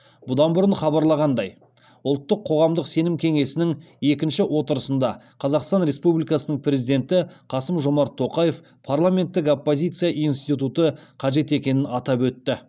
бұдан бұрын хабарланғандай ұлттық қоғамдық сенім кеңесінің екінші отырысында қазақстан республикасының президенті қасым жомарт тоқаев парламенттік оппозиция институты қажет екенін атап өтті